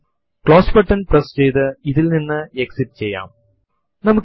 ഇതിനു വേണ്ടി ലിനക്സ് ൽ eഹൈഫെൻ ഇ ഓപ്ഷൻ നമുക്ക് ഉപയോഗിക്കെണ്ടുന്നതായി ഉണ്ട്